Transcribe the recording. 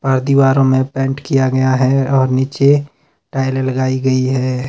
अ दीवारों में पेंट किया गया है और नीचे टाइलें लगाई गई है।